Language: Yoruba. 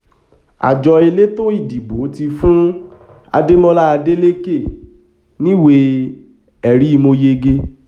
àjọ elétò ìdìbò ti fún adémọlá adélèké níwèé ẹ̀rí mọ́ yege